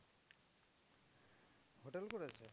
Hotel করেছে।